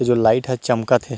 जो लाइट ह चमकत हे।